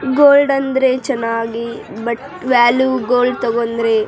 gold ಅಂದ್ರೆ ಚೆನ್ನಾಗಿ but value gold ತಗೊಂಡ್ರೆ --